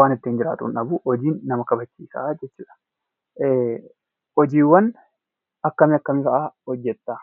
waan ittiin jiraatu hin dhabu. Hojiin nama kabachiisa jechuu dha. Hojiiwwan akjam akkamii fa'aa hojjetta?